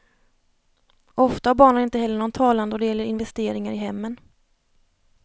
Ofta har barnen inte heller någon talan då det gäller investeringar i hemmen.